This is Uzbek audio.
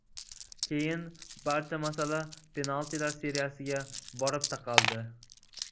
Keyin barcha masala penaltilar seriyasiga borib taqaldi.